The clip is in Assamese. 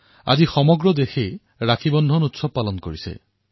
আজি সমগ্ৰ দেশে ৰক্ষা বন্ধনৰ উৎসৱ পালন কৰিছে